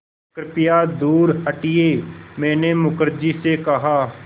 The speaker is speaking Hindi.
कृपया दूर हटिये मैंने मुखर्जी से कहा